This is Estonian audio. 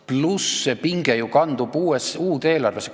... pluss see, et see pinge ju kandub uude eelarvesse.